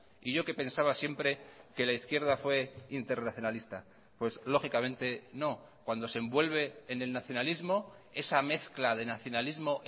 y yo que pensaba siempre que la izquierda fue internacionalista pues lógicamente no cuando se envuelve en el nacionalismo esa mezcla de nacionalismo